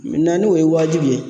n'o ye wajibi ye